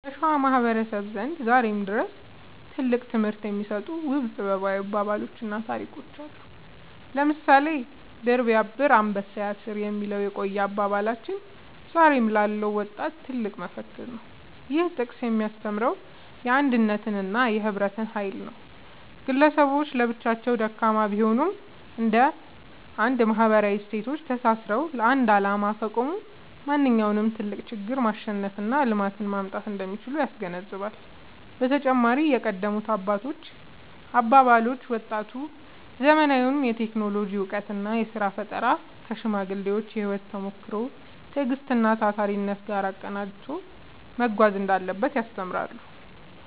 በሸዋ ማህበረሰብ ዘንድ ዛሬም ድረስ ትልቅ ትምህርት የሚሰጡ ውብ ጥበባዊ አባባሎችና ታሪኮች አሉ። ለምሳሌ «ድር ቢያብር አንበሳ ያስር» የሚለው የቆየ አባባላችን ዛሬ ላለው ወጣት ትልቅ መፈክር ነው። ይህ ጥቅስ የሚያስተምረው የአንድነትንና የህብረትን ኃይል ነው። ግለሰቦች ለብቻቸው ደካማ ቢሆኑም፣ እንደ አንድ ማህበራዊ እሴቶች ተሳስረው ለአንድ ዓላማ ከቆሙ ማንኛውንም ትልቅ ችግር ማሸነፍና ልማትን ማምጣት እንደሚችሉ ያስገነዝባል። በተጨማሪም የቀደሙት አባቶች አባባሎች፣ ወጣቱ ዘመናዊውን የቴክኖሎጂ እውቀትና የሥራ ፈጠራ ከሽማግሌዎች የህይወት ተሞክሮ፣ ትዕግስትና ታታሪነት ጋር አቀናጅቶ መጓዝ እንዳለበት ያስተምራሉ።